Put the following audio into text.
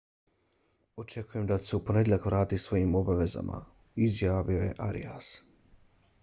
očekujem da ću se u ponedjeljak vratiti svojim obavezama izjavio je arias